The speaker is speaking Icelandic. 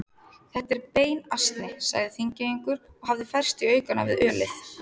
Þetta er beinasni, sagði Þingeyingur og hafði færst í aukana við ölið.